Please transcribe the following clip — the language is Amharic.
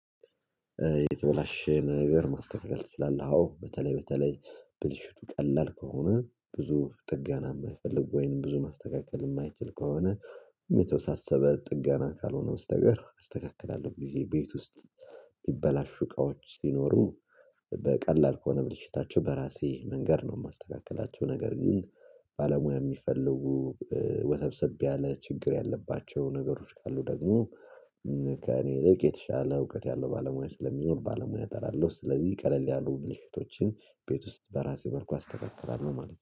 የተበላሸ ነገር ማስተካከል ትችላለህ? አዎ በተለይ በተለይ ብልሽቱ ቀላል ከሆነ ብዙ ጥገና የማይፈልግ ወይንም ብዙ ማስተካከል የማይችል ከሆነ የተወሳሰበ ጥገና ካልሆነ በስተቀር አስተካክላለሁ ብየ ቤት ውስጥ ሚበላሹ እቃዎች ቢኖሩ በቀላል ከሆነ ብልሽታቸው በራሴ መንገድ ነው የማስተካከላቸው ነገር ግን ባለሙያ የሚፈልጉ ወሰብሰብ ያለ ችግር ያለባቸው ነገሮች ካሉ ደግሞ ከእኔ ይልቅ የተሻለ እውቀት ያለው ባለሙያ ስለሚኖር ባለሙያ እጠራለሁ። ስለዚህ ቀለል ያሉ ብልሽቶችን ቤት ውስጥ በራሴ መልኩ አስተካክላለሁ ማለት ነው